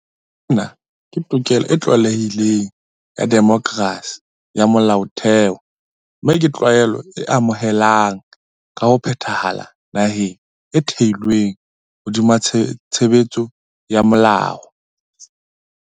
Sena ke tokelo e tlwaelehileng ya demokerasi ya molaotheo mme ke tlwaelo e amohelehang ka ho phethahala naheng e thehilweng hodima tshebetso ya molao.